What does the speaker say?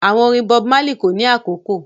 Àwọn orin Bob Marley kò ní àkókò